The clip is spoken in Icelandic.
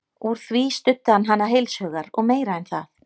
Úr því studdi hann hana heils hugar og meira en það.